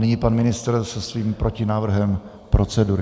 Nyní pan ministr se svým protinávrhem procedury.